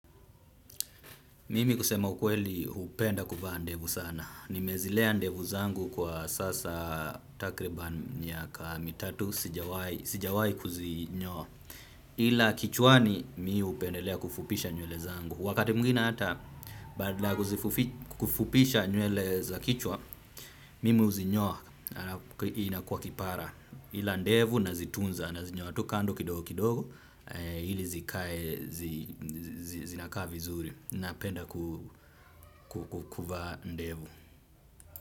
Mimi kusema ukweli hupenda kuvaa ndevu sana. Nimezilea ndevu zangu kwa sasa takriban miaka mitatu sijawai kuzinyoa. Ila kichwani mimi hupendelea kufupisha nywele zangu. Wakati mwingine hata badala kufupisha nywele za kichwa, mimi huzinyoa na inakuwa kipara. Ila ndevu na zitunza na zinyoa tu kando kidogo kidogo, ili zikae, zinakaa vizuri. Napenda kukuvaa ndevu.